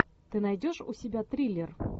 ты найдешь у себя триллер